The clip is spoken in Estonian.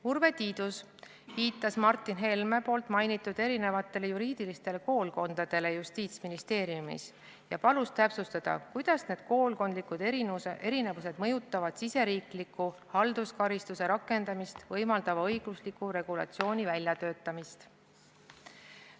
Urve Tiidus viitas Martin Helme mainitud erinevatele juriidilistele koolkondadele Justiitsministeeriumis ja palus täpsustada, kuidas need koolkondlikud erinevused mõjutavad riigisisese halduskaristuse rakendamist võimaldava õigusliku regulatsiooni väljatöötamist.